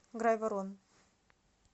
грайворон